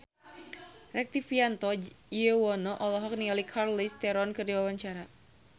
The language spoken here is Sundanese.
Rektivianto Yoewono olohok ningali Charlize Theron keur diwawancara